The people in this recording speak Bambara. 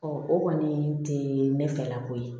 o kɔni tɛ ne fɛla ko ye